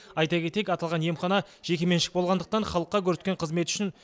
айта кетейік аталған емхана жекеменшік болғандықтан халыққа көрсеткен қызметі үшін